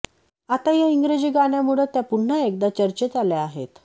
आता या इंग्रजी गाण्यामुळं त्या पुन्हा एकदा चर्चेत आल्या आहेत